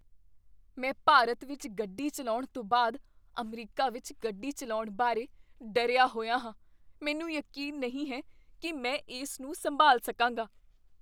ਮੈਂ ਭਾਰਤ ਵਿੱਚ ਗੱਡੀ ਚੱਲਾਉਣ ਤੋਂ ਬਾਅਦ ਅਮਰੀਕਾ ਵਿੱਚ ਗੱਡੀ ਚੱਲਾਉਣ ਬਾਰੇ ਡਰਿਆ ਹੋਇਆ ਹਾਂ। ਮੈਨੂੰ ਯਕੀਨ ਨਹੀਂ ਹੈ ਕੀ ਮੈਂ ਇਸ ਨੂੰ ਸੰਭਾਲ ਸਕਾਂਗਾ।